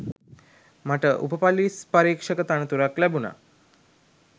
මට උප ‍පොලිස් පරීක්ෂක තනතුරක් ලැබුණා